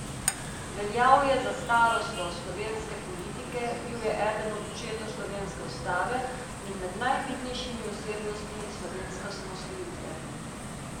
Veljal je za starosto slovenske politike, bil je eden od očetov slovenske ustave in med najvidnejšimi osebnostmi slovenske osamosvojitve.